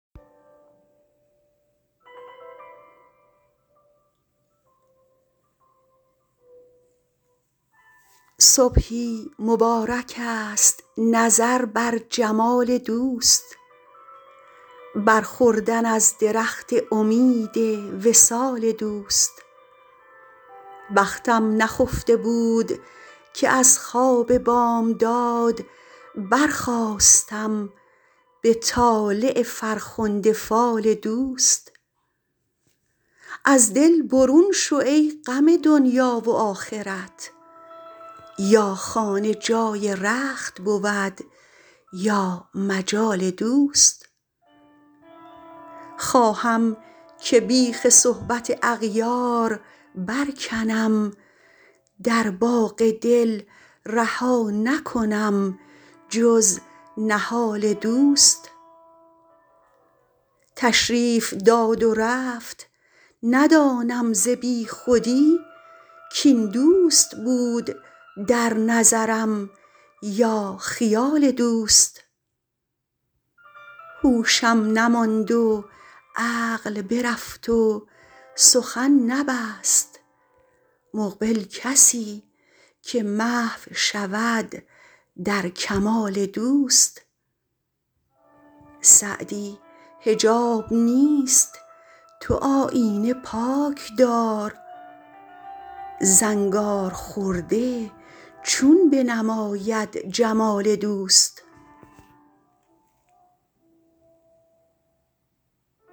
صبحی مبارکست نظر بر جمال دوست بر خوردن از درخت امید وصال دوست بختم نخفته بود که از خواب بامداد برخاستم به طالع فرخنده فال دوست از دل برون شو ای غم دنیا و آخرت یا خانه جای رخت بود یا مجال دوست خواهم که بیخ صحبت اغیار برکنم در باغ دل رها نکنم جز نهال دوست تشریف داد و رفت ندانم ز بیخودی کاین دوست بود در نظرم یا خیال دوست هوشم نماند و عقل برفت و سخن نبست مقبل کسی که محو شود در کمال دوست سعدی حجاب نیست تو آیینه پاک دار زنگارخورده چون بنماید جمال دوست